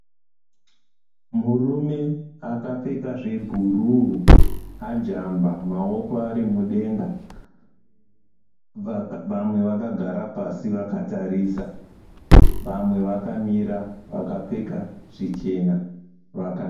Murume akapfeka zvebhuruu, ajamba maoko ari mudenga. Vamwe vakagara pasi vakatarisa vamwe vakamira vakapfeka zvichena vaka.